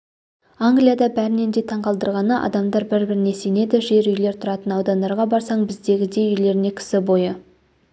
англияда бәрінен де таңқалдырғаны адамдар бір-біріне сенеді жер үйлер тұратын аудандарға барсаң біздегідей үйлеріне кісі бойы